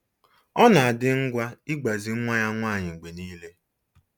Ọ na-adị ngwa ịgbazi nwa ya nwanyị mgbe niile